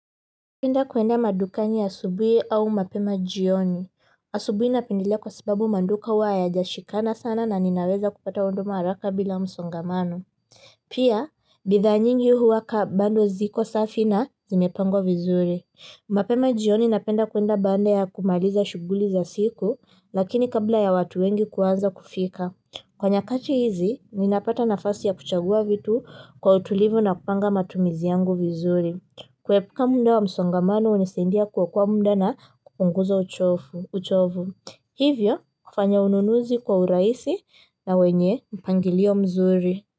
Napenda kuenda madukani asubuhi au mapema jioni asubuhi napendelea kwa sababu maduka huwa hayajashikana sana na ninaweza kupata huduma haraka bila msongamano pia bidhaa nyingi huwa kaa bado ziko safi na zimepangwa vizuri mapema jioni napenda kuenda baada ya kumaliza shuguli za siku lakini kabla ya watu wengi kuanza kufika kwa nyakati hizi ninapata nafasinya kuchagua vitu kwa utulivu napanga matumizi yangu vizuri kuepuka muda wa msongamano hunisaidia kuokoa muda na kupunguza uchovu hivyo kufanya ununuzi kwa urahisi na wenye mpangilio mzuri.